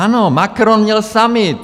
Ano, Macron měl summit.